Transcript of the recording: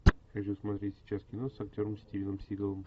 хочу смотреть сейчас кино с актером стивеном сигалом